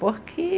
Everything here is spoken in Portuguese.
Por quê